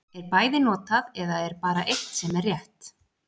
Er bæði notað, eða er bara eitt sem er rétt.